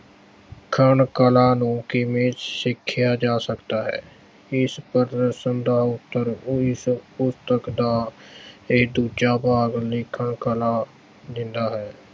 ਲਿਖਣ ਕਲਾ ਨੂੰ ਕਿਵੇਂ ਸਿੱਖਿਆ ਜਾ ਸਕਦਾ ਹੈ। ਇਸ ਪ੍ਰਸ਼ਨ ਦਾ ਉੱਤਰ ਓਹੀ ਪੁਸਤਕ ਦਾ ਇਹ ਦੂਜਾ ਭਾਗ ਲਿਖਣ ਕਲਾ, ਦਿੰਦਾ ਹੈ।